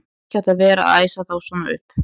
Þú hefðir ekki átt að vera að æsa þá svona upp!